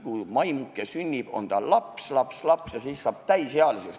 Kui maimuke sünnib, on ta laps-laps-laps, ja siis saab kohe täisealiseks.